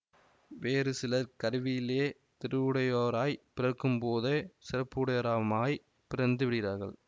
வேறு சிலர் கருவிலேயே திருவுடையோராய் பிறக்கும்போதே சிறப்புடையோரமாய்ப் பிறந்து விடுகிறார்கள்